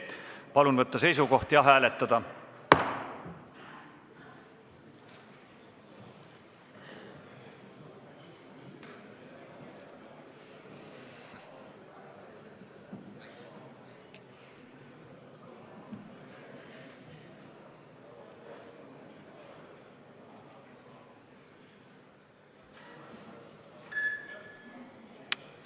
Palun võtta seisukoht ja hääletada!